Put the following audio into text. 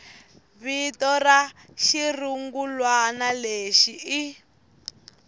vito ra xirungulwana lexi ri